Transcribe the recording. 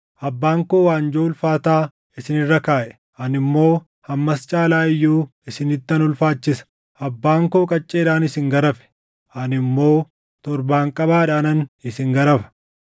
Abbaan koo waanjoo ulfaataa isin irra kaaʼe; ani immoo hammas caalaa iyyuu isinittan ulfaachisa. Abbaan koo qacceedhaan isin garafe; ani immoo torbaanqabaadhaanan isin garafa.’ ”